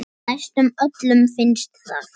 Næstum öllum finnst það.